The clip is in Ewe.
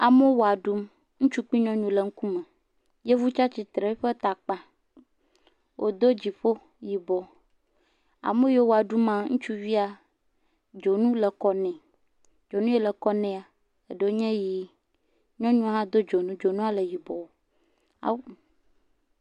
Amewo wɔ ɖum, ŋutsu kple nyɔnuwo le eƒe ŋkume. Yevu tsia tsutre eƒe ta kpã, wodo dziƒo yibɔ. Ame yiwo wɔ ɖum ma, dzonu le kɔ ne. dzonu ye le kɔ nea anye ʋi, nyɔnua hã ɖo yibɔ. Ahhh.